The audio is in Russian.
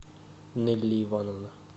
нелли ивановна